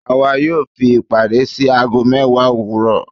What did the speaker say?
Àwà yóò fi ìpàdé sí agó mewa owuro